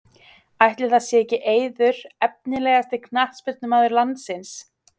Ætli það sé ekki Eiður Efnilegasti knattspyrnumaður landsins?